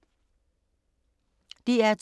DR2